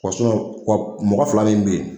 mɔgɔ fila min bɛ ye.